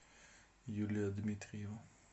юлия дмитриева